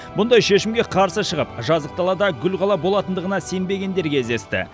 мұндай шешімге қарсы шығып жазық далада гүл қала болатындығына сенбегендер кездесті